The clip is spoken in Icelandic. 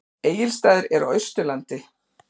Egilsstaðir eru á Austurlandi.